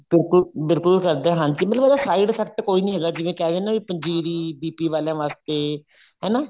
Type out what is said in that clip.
ਬਿਲਕੁਲ ਬਿਲਕੁਲ ਕਰਦਾ ਹਾਂਜੀ ਮਤਲਬ ਉਹਦਾ side effect ਕੋਈ ਨੀ ਹੈਗਾ ਜਿਵੇਂ ਕਹਿ ਦੇਣ ਨਾ ਪੰਜੀਰੀ BP ਆਲਿਆਂ ਵਾਸਤੇ ਹਨਾ